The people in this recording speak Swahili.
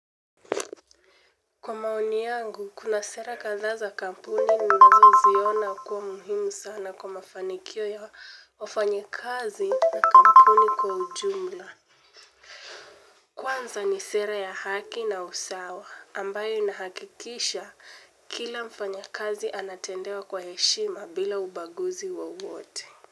Kwa maoni yangu, kuna sera kadhaa za kampuni ninazoziona kuwa muhimu sana kwa mafanikio ya wafanyakazi na kampuni kwa ujumla. Kwanza ni sera ya haki na usawa, ambayo inahakikisha kila mfanyakazi anatendewa kwa heshima bila ubaguzi wowote.